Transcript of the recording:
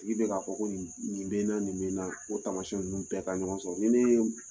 nin bɛ k'a fɔ ko nin bɛna, nin bɛna , o tamasiɲɛn ninnu bɛɛ ka ɲɔgɔn sɔrɔ ni ne ye